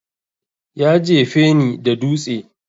Ya jefe ni da dutse